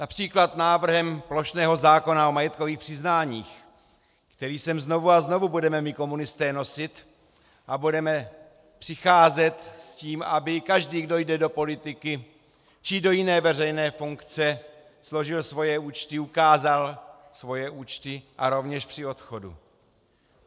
Například návrhem plošného zákona o majetkových přiznáních, který sem znovu a znovu budeme my komunisté nosit, a budeme přicházet s tím, aby každý, kdo jde do politiky či do jiné veřejné funkce, složil svoje účty, ukázal svoje účty a rovněž při odchodu.